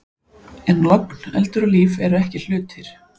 En logn, eldur og líf eru ekki hlutir.